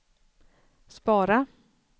spara